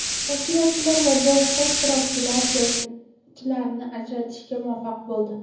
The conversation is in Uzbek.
Tashkilotchilar va boshqa ishtirokchilar jangchilarni ajratishga muvaffaq bo‘ldi.